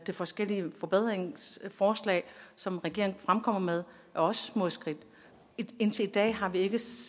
forskellige forbedringsforslag som regeringen fremkommer med også er små skridt indtil i dag har vi ikke